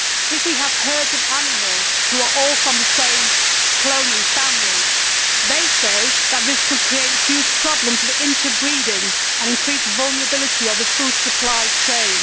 If there are herds of animals which are all from the same cloning family, the report states that this could create huge problems of interbreeding and increased vulnerability of the food supply chain.